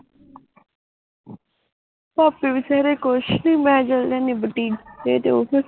ਭਾਭੀ ਵੀ ਸਵੇਰੇ ਕੁਝ ਨੀ ਮੈਂ ਚਲੇ ਜਾਂਦੀ ਆ ਬੁਟੀਕ ਤੇ ਉਹ ਫਿਰ